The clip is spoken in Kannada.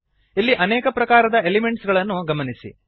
ಇಲ್ಲಿ ಅನೇಕ ಪ್ರಕಾರದ ಎಲಿಮೆಂಟ್ಸ್ ಗಳನ್ನು ಗಮನಿಸಿ